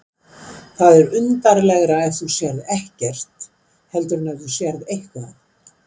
Það er undarlegra ef þú sérð ekkert heldur en ef þú sérð eitthvað.